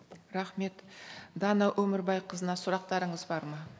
рахмет дана өмірбайқызына сұрақтарыңыз бар ма